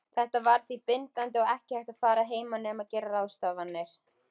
Þetta var því bindandi og ekki hægt að fara að heiman nema gera ráðstafanir.